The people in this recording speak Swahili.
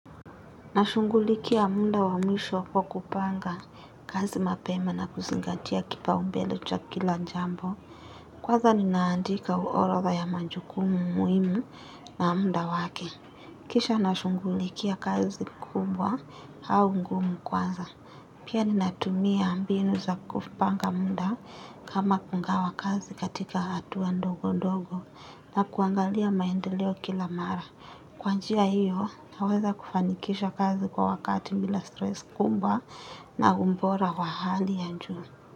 Nashungulikia muda wa mwisho kwa kupanga kazi mapema na kuzingatia kipa umbelo cha kila jambo. Kwaza ninaandika uorodha ya majukumu muhimu na muda wake. Kisha nashungulikia kazi kubwa au ngumu kwanza. Pia ninatumia mbinu za kupanga muda kama kungawa kazi katika hatua ndogo ndogo na kuangalia maendeleo kila mara. Kwa njia hiyo, naweza kufanikisha kazi kwa wakati bila stress kubwa na umbora wa hali ya njua.